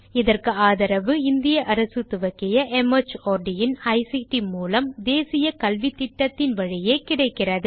இதற்கு ஆதரவு இந்திய அரசு துவக்கிய மார்ட் இன் ஐசிடி மூலம் தேசிய கல்வித்திட்டத்தின் வழியே கிடைக்கிறது